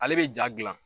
Ale bɛ ja gilan